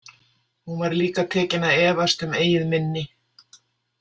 Hún var líka tekin að efast um eigið minni.